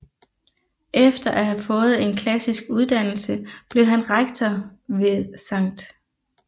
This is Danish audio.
Efter at have fået en klassisk uddannelse blev han rektor ved Skt